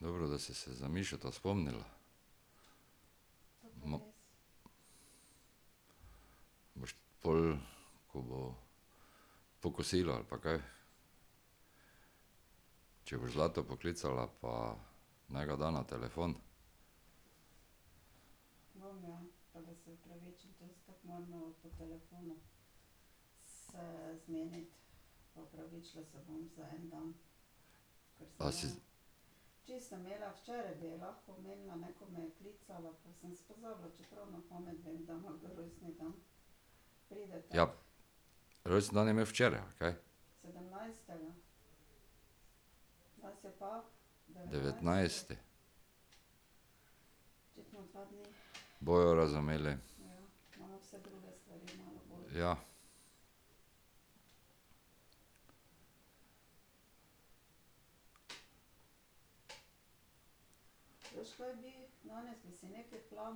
Dobro, da si se za Mišota spomnila. ... Boš pol, ko bo, po kosilu ali pa kaj, če boš Zlato poklicala pa naj ga da na telefon. A si ... Ja, rojstni dan je imel včeraj, ali kaj? Devetnajsti. Bojo razumeli. Ja. Dajva.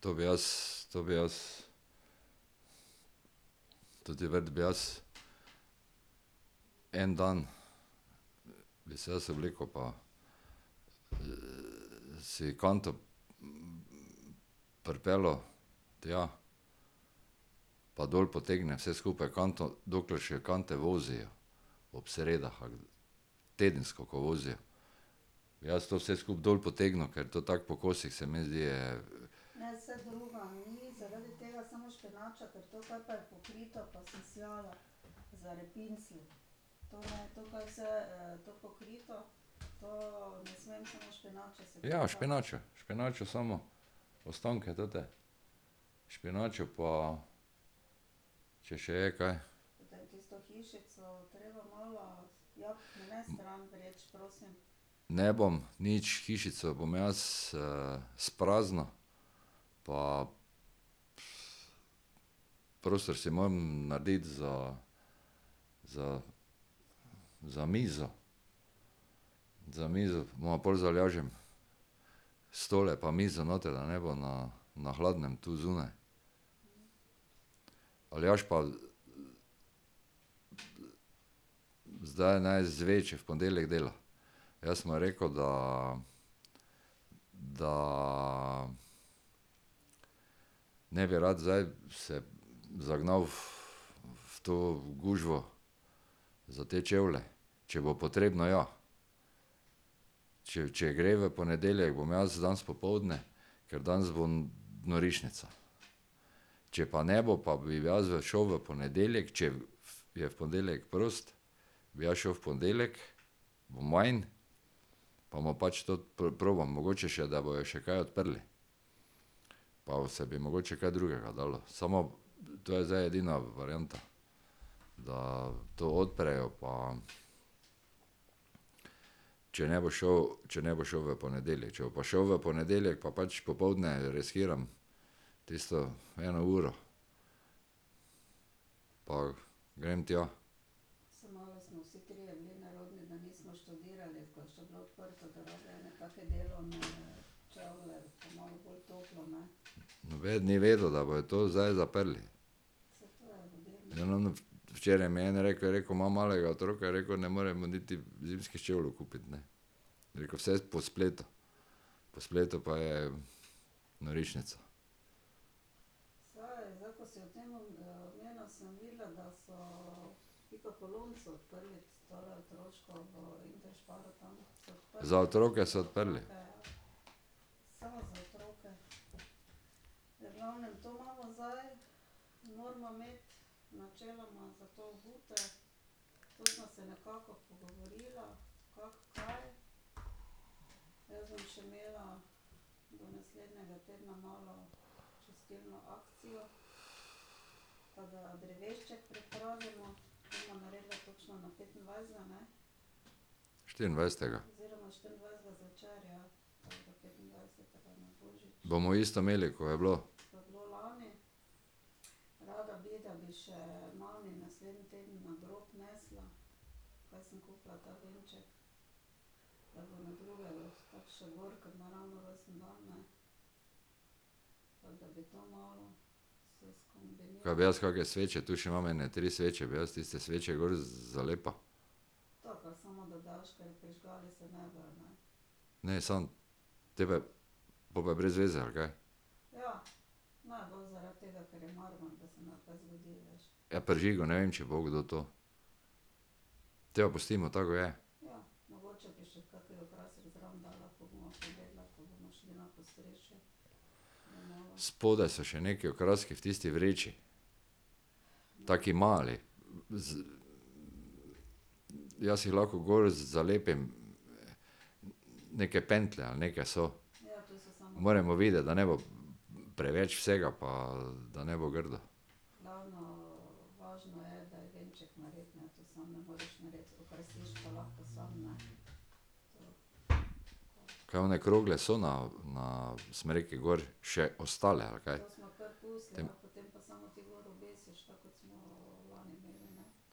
To bi jaz, to bi jaz ... Ta vrt bi jaz, en dan bi se jaz obleko pa si kanto pripeljal tja, pa dol potegne vse skupaj v kanto, dokler še kante vozijo. Ob sredah ali tedensko, ko vozijo. Jaz to vse skupaj dol potegnil, ker to tako po kosih, se mi zdi, je ... Ja, špinačo, špinačo samo, ostanke te. Špinačo pa, če še je kaj. Ne bom nič, hišico bom jaz spraznil pa, prostor si moram narediti za za, za mizo. Za mizo bova pol z Aljažem, stole pa mizo noter, da ne bo na na hladnem tu zunaj. Aljaž pa zdaj naj izve, če v ponedeljek dela. Jaz sem mu rekel, da, da ne bi rad zdaj se zagnal v, v to gužvo za te čevlje, če bo potrebno, ja. Če, če gre v ponedeljek, bom jaz danes popoldne, ker danes bo norišnica. Če pa ne bo, pa bi jaz šel v ponedeljek, če v je v ponedeljek prost, bi jaz šel v ponedeljek, bo manj pa bomo pač tudi probam, mogoče še, da bojo še kaj odprli. Pa se bi mogoče kaj drugega dalo, samo to je zdaj edina varianta, da to odprejo pa ... Če ne bo šel, če ne bo šel v ponedeljek, če bo pa šel v ponedeljek, pa pač popoldne riskiram, tisto eno uro. Pa grem tja. Nobeden ni vedel, da bojo to zdaj zaprli. Ja, no, včeraj mi je en rekel, je rekel: "Imam malega otroka," je rekel, "ne morem mu niti zimskih čevljev kupiti, ne." Je rekel: "Vse po spletu, po spletu pa je norišnica." Za otroke so odprli. Štiriindvajsetega. Bomo isto imeli, ko je bilo. Ka bi jaz kake sveče, tu še imam ene tri sveče, bi jaz tiste sveče gor zalepil. treba je, po pa je brez veze, ali kaj. Ja prižigal, ne vem, če bo kdo to. Potem pa pustimo tako, kot je. Spodaj so še nekaj okraski v tisti vreči, taki mali. ... jaz jih lahko gor zalepim, neke pentlje ali neke so. Moramo videti, da ne bo preveč vsega pa da ne bo grdo. Kaj one krogle so na, na smreki gor že, še ostale, ali kaj?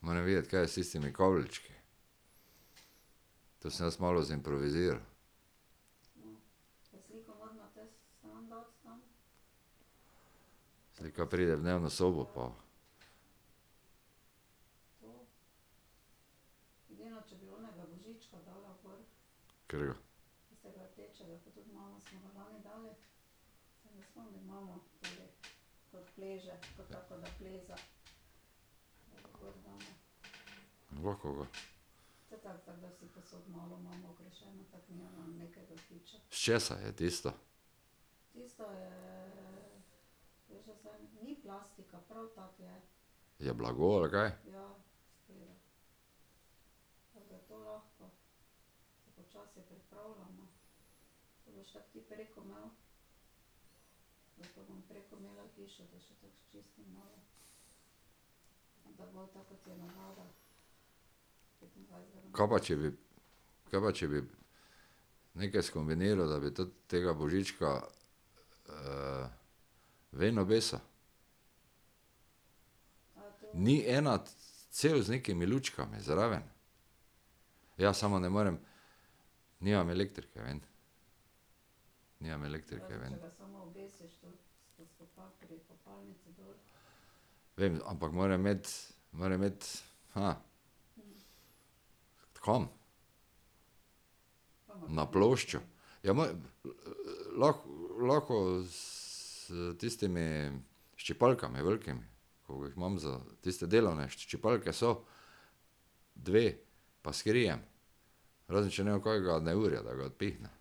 Moram videti, kaj je s tistimi kabelčki. To sem jaz malo zimproviziral. Slika pride v dnevno sobo pa ... Katerega? S česa je tisto? Je bila gor, ali kaj? Ka pa če bi, ka pa če bi nekaj skombiniral, da bi tudi tega Božička, ven obesil? Ni ena cev z nekimi lučkami zraven? Ja, samo ne morem, nimam elektrike ven, nimam elektrike ven. Vem, ampak moram imeti, moram imeti, Kam? Na ploščo. Ja, lahko, s tistimi ščipalkami velikimi, ko jih imam za, tiste delovne ščipalke so dve pa s kirijem. Razen če ne bo kakega neurja, da ga odpihne.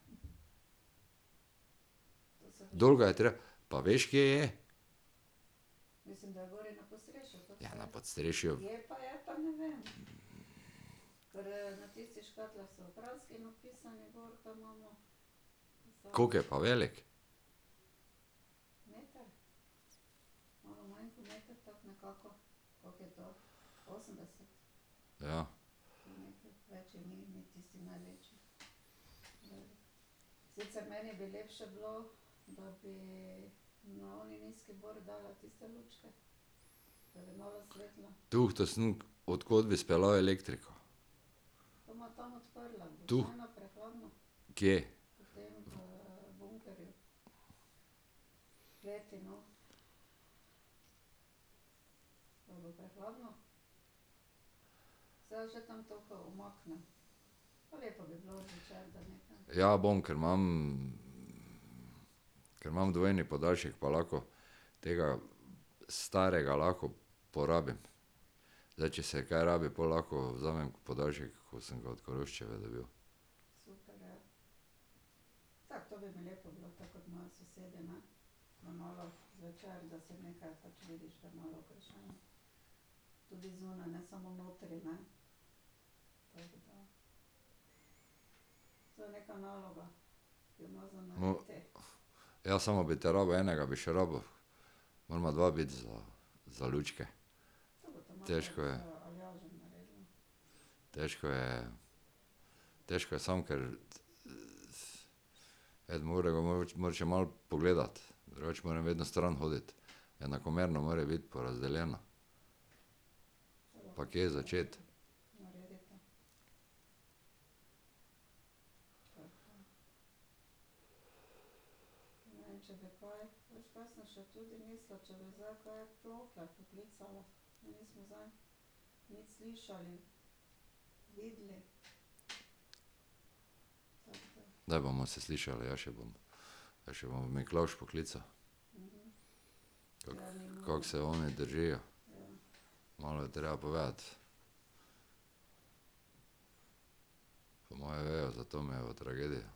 Dol ga je treba, pa veš, kje je? Ja na podstrešju ... Koliko je pa veliko? Ja. Tuhtal sem, od kod bi speljal elektriko. Tu. Kje? Ja bom, ker imam ... Ker imam dvojni podaljšek, pa lahko. Tega starega lahko porabim. Zdaj, če se kaj rabi, pol lahko vzamem podaljšek, ko sem ga od Koroščeve dobil. ... Ja, samo bi te rabil, enega bi še rabil. Morava dva biti za za lučke. Težko je. Težko je. Težko je sam, ker eden mora še malo pogledati, drugače moram vedno stran hoditi. Enakomerno more biti porazdeljeno. Pa kje začeti. Daj, bomo se slišali, jaz še bom, jaz še bom Miklavž poklical. Kako, kako se oni držijo. Malo je treba povedati. Po moje vejo za Tomejevo tragedijo.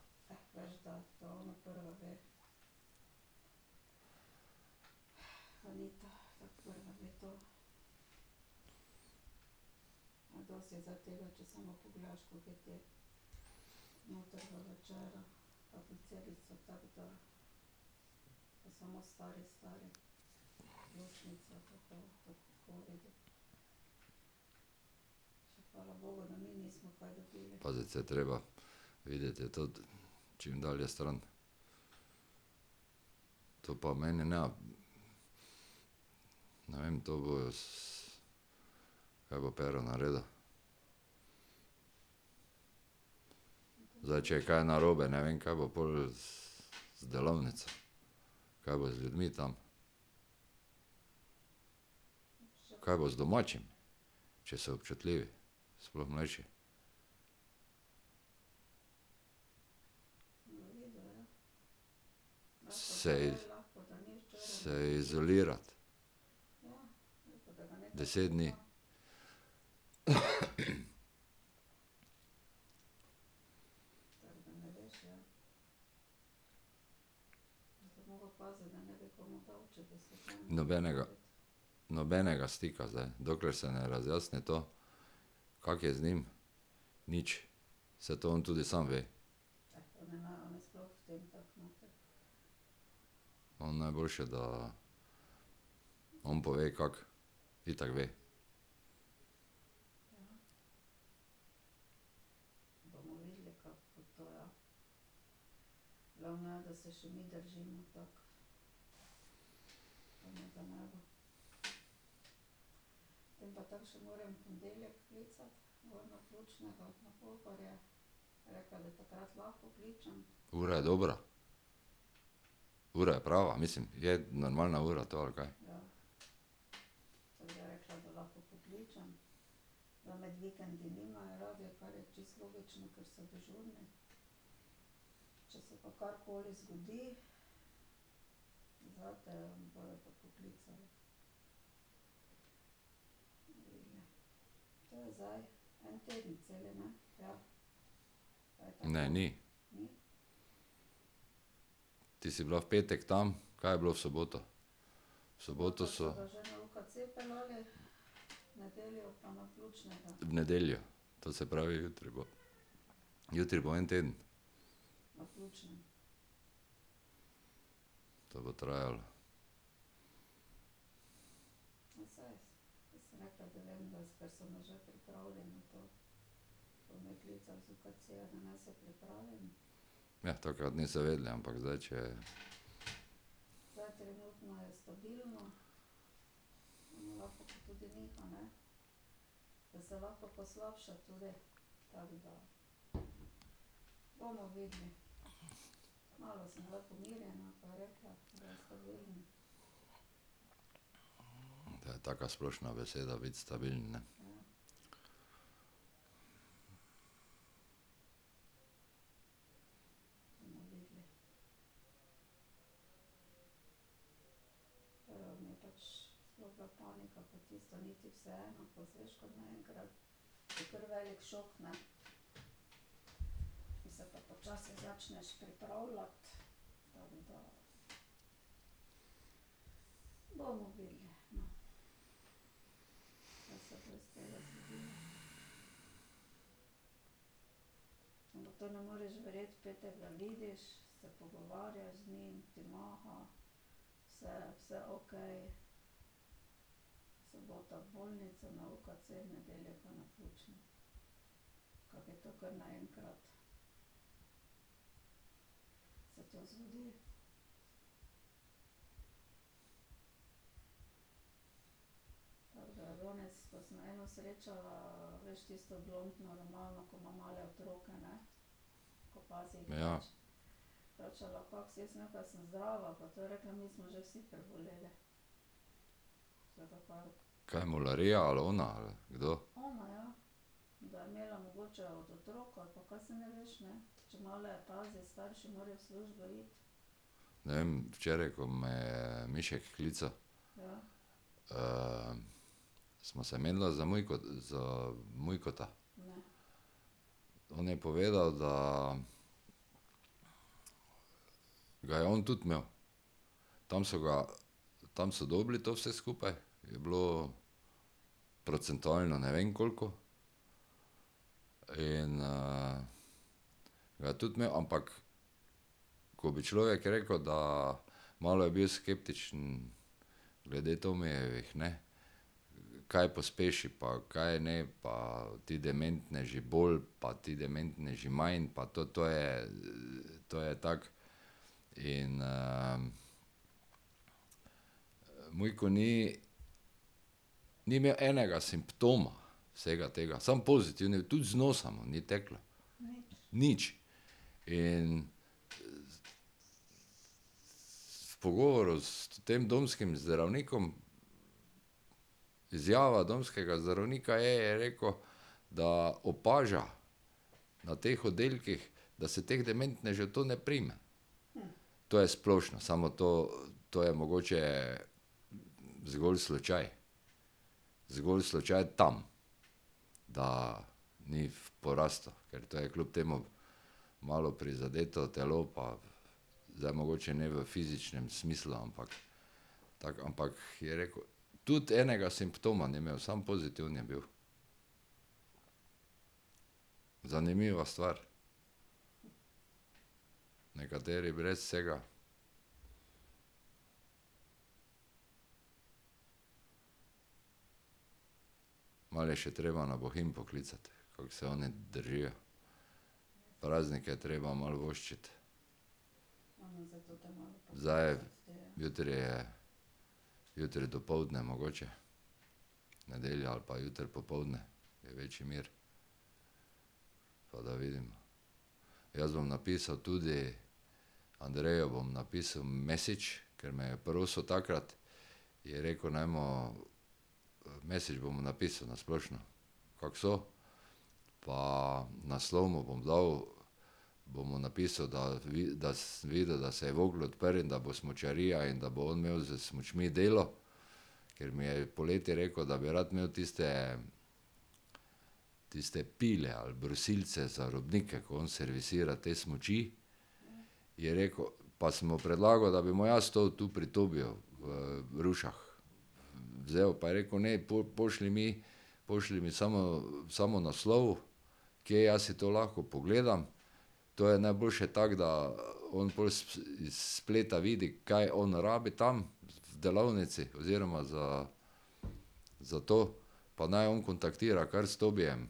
Paziti se je treba. Videti je tudi, čim dalje stran. To pa meni ne ... Ne vem, to bojo ... Kaj bo Pero naredil. Zdaj, če je kaj narobe, ne vem, kaj bo pol s, z delavnico, kaj bo z ljudmi tam. Kaj bo z domačimi, če so občutljivi, sploh mlajši. Se ... Se izolirati. Deset dni. Nobenega, nobenega stika zdaj, dokler se ne razjasni to, kako je z njim. Nič, saj to on tudi sam ve. On najboljše, da on pove kako. Itak ve. Ura je dobra? Ura je prava? Mislim, je normalna ura to, ali kaj? Ne, ni. Ti si bila v petek tam, kaj je bilo v soboto? V soboto so ... V nedeljo? To se pravi, jutri bo, jutri bo en teden. To bo trajalo. Ja, takrat niso vedeli, ampak zdaj, če je ... To je taka splošna beseda, biti stabilen, ne. Ja. Kaj mularija ali ona ali kdo? Ne vem, včeraj, ko me je Mišek klical, sva se menila za za Mujkota. On je povedal, da ga je on tudi imel. Tam so ga, tam so dobili to vse skupaj, je bilo procentualno ne vem koliko, in ga je tudi imel, ampak ko bi človek rekel, da malo je bil skeptičen glede Tomijevih, ne, kaj pospeši pa kaj ne, pa ti dementneži bolj pa ti dementneži manj pa to, to je, to je tako in ... Mujko ni, ni imel enega simptoma vsega tega, samo pozitiven je bil, tudi z nosa mu ni teklo. Nič. In, v pogovoru s tem domskim zdravnikom, izjava domskega zdravnika je, je rekel, da opaža na teh oddelkih, da se teh dementnežev to ne prime. To je splošno, samo to, to je mogoče zgolj slučaj. Zgolj slučaj tam, da ni v porastu, ker to je kljub temu malo prizadeto telo pa zdaj mogoče ne v fizičnem smislu, ampak tako, ampak, je rekel, tudi enega simptoma ni imel, samo pozitiven je bil. Zanimiva stvar. Nekateri brez vsega. Malo je še treba na Bohinj poklicati, koliko se oni držijo. Praznike je treba malo voščiti. Zdaj, jutri je ... Jutri dopoldne mogoče. V nedeljo ali pa jutri popoldne, je večji mir. Pa da vidim. Jaz bom napisal tudi, Andreju bom napisal message, ker me je prosil takrat, je rekel, naj mu ... Message bom mu napisal na splošno, kako so, pa naslov mu bom dal, bom mu napisal, da da si videl, da se je Vogel odprl in da bo smučarija in da bo on imel s smučmi delo, ker mi je poleti rekel, da bi rad imel tiste, tiste pile ali brusilce za robnike, ko on servisira te smuči. Je rekel, pa sem mu predlagal, da bi mu jaz to tu pri Tobiju v, v Rušah vzel, pa je rekel: "Ne, pošlji mi, pošlji mi samo, samo naslov, kje jaz si to lahko pogledam." To je najboljše tako, da on pol iz spleta vidi, kaj on rabi tam v delavnici oziroma za, za to pa naj on kontaktira kar s Tobijem,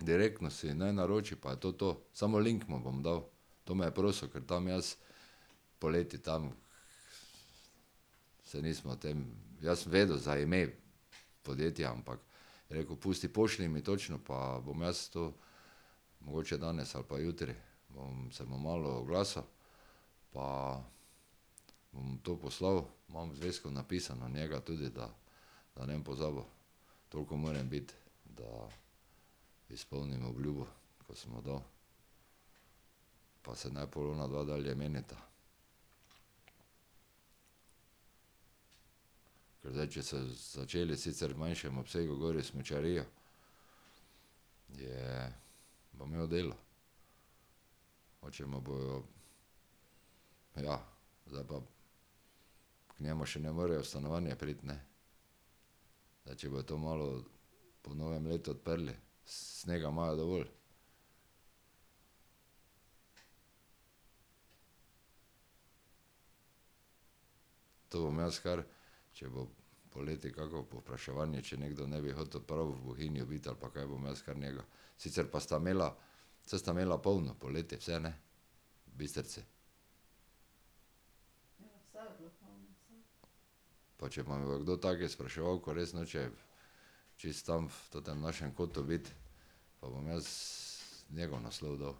direktno si naj naroči, pa je to to, samo link mu bom dal. To me je prosil, ker tam jaz, poleti tam se nismo o tem, jaz sem vedel za ime podjetja, ampak je rekel: "Pusti, pošlji mi točno pa bom jaz to, mogoče danes ali pa jutri." Bom se mu malo oglasil. Pa bom to poslal, imam v zvezku napisano njega tudi, da da ne bom pozabil. Toliko moram biti, da izpolnim obljubo, ko sem mu dal. Pa se naj pol onadva dalje menita. Zdaj če so začeli, sicer v manjšem obsegu, gori smučarijo, je, bo imel delo. Mogoče mu bojo, ja, zdaj pa, k njemu še ne morejo v stanovanje priti, ne. Zdaj, če bojo to malo po novem letu odprli, snega imajo dovolj. To bom jaz kar, če bo poleti kako povpraševanje, če nekdo ne bi hotel prav v Bohinju biti ali pa kaj, bom jaz kar njega. Sicer pa sta imela, saj sta imela polno poleti vse, ne? V Bistrici. Pa če mtake kdo take spraševal, ko res noče čisto tam v tem našem kotu biti pa bom jaz njegov naslov dal.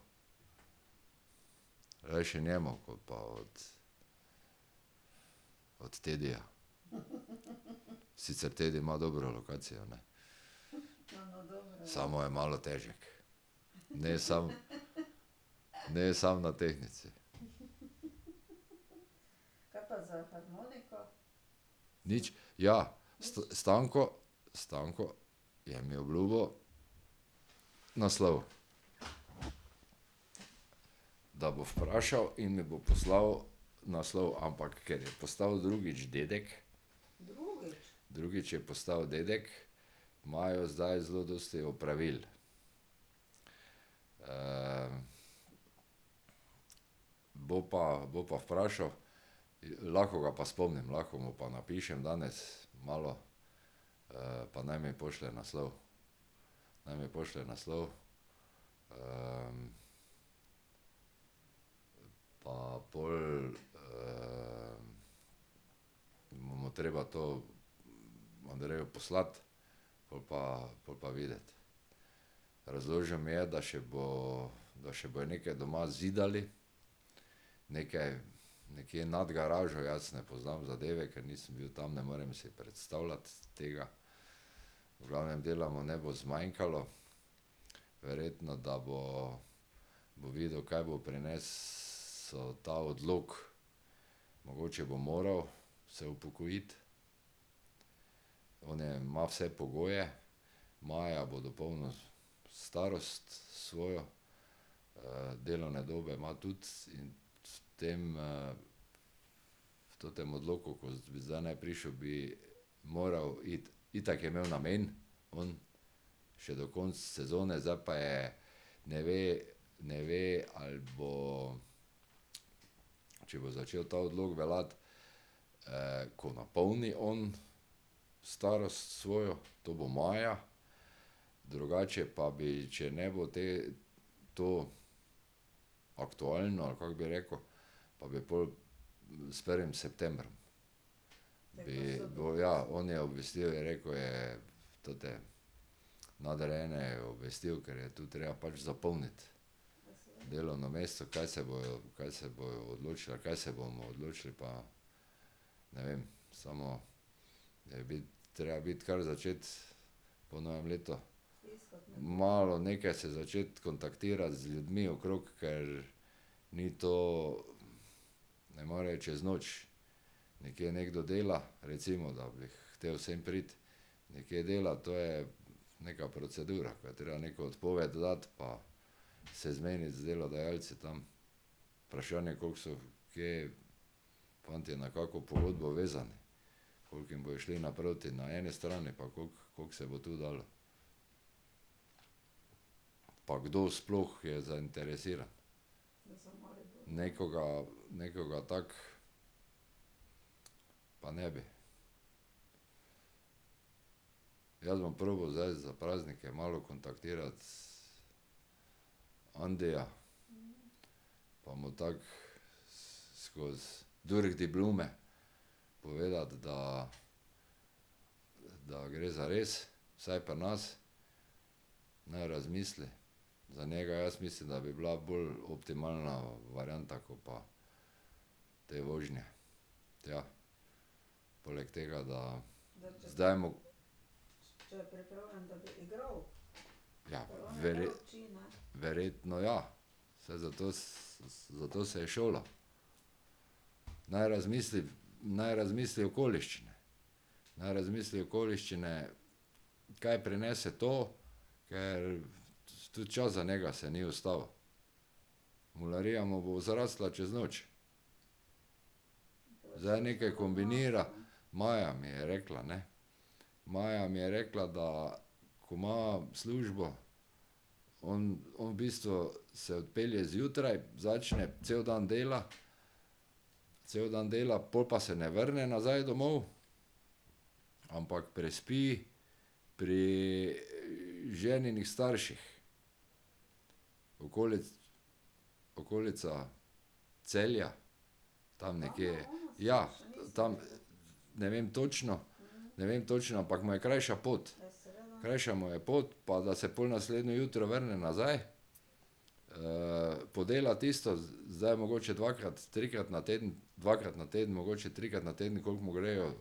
Rajši njemu, ko pa od ... Od Tedija. Sicer Tedi ima dobro lokacijo, ne, samo je malo težek. Ne samo ... ne samo na tehtnici. Nič. Ja, Stanko, Stanko je jim obljubil naslov. Da bo vprašal in mi bo poslal naslov, ampak ker je postal drugič dedek ... Drugič je postal dedek, imajo zdaj zelo dosti opravil. bo pa, bo pa vprašal, lahko ga pa spomnim, lahko mu pa napišem danes malo, pa naj mi pošlje naslov, naj mi pošlje naslov. pa pol mu bo treba to, Andreju poslati, pol pa, pol pa videti. Razložil mi je, da še bo, da še bojo neke doma zidali, neke, nekje nad garažo, jaz ne poznam zadeve, ker nisem bil tam, ne morem si predstavljati tega. V glavnem dela mu ne bo zmanjkalo. Verjetno, da bo, bo videl, kaj bo prinesel ta odlok. Mogoče bo moral se upokojiti. ma vse pogoje, Maja bo dopolnila starost svojo, delovne dobe ima tudi in s tem v tem odloku, ko bi zdaj naj prišel, bi moral iti, itak je imel namen on še do konca sezone, zdaj pa je, ne ve, ne ve, ali bo, če bo začel ta odlok veljati, ko napolni on starost svojo, to bo maja, drugače pa bi, če ne bo te, to aktualno, ali kako bi rekel, pa bi pol s prvim septembrom. Bi, bo, ja, oni obvestijo, je rekel, je, tote nadrejene obvestijo, ker je to treba pač zapolniti delovno mesto, kaj se bojo, kaj se bodo odločili, kaj se bomo odločili, pa ne vem, samo ... biti, treba biti. kar začeti po novem letu ... Malo nekaj se začeti kontaktirati z ljudmi okrog, ker ni to, ne more čez noč. Nekje nekdo dela, recimo da bi hotel sem priti, nekje dela, to je neka procedura, ko je treba neko odpoved dati pa se zmeniti z delodajalci tam. Vprašanje, koliko so kje fantje na kakšno pogodbo vezani, koliko jim bojo šli naproti na eni strani pa kako, kako se bo tu dalo. Pa kdo sploh je zainteresiran. Nekoga, nekoga tako pa ne bi. Jaz bom probal zdaj za praznike malo kontaktirati Andija pa mu tako skoz durch die Blume povedati, da da gre zares, saj pri nas, naj razmisli. Za njega jaz mislim, da bi bila bolj optimalna varianta, ko pa te vožnje tja. Poleg tega, da zdaj mu ... Ja, ... Verjetno ja. Saj zato zato se je šolal. Naj razmisli, naj razmisli okoliščine. Naj razmisli okoliščine, kaj prinese to, ker tudi čas za njega se ni ustavil. Mularija mu bo zrasla čez noč. Zdaj nekaj kombinira, Maja mi je rekla, ne. Maja mi je rekla, da ko ima službo, on v bistvu se odpelje zjutraj, začne, cel dan dela. Cel dan dela, pol pa se ne vrne nazaj domov, ampak prespi pri ženinih starših. okolica Celja, tam nekje. Ja, tam. Ne vem točno, ne vem točno, ampak mu je krajša pot. Krajša mu je pot pa da se pol naslednje jutro vrne nazaj. podela tisto, zdaj mogoče dvakrat, trikrat na teden, dvakrat na teden, mogoče trikrat na teden, koliko mu grejo